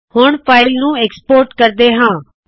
ਹੁਣ ਫਾਇਲ ਨੂੰ export export ਕਰਦੇ ਹਾ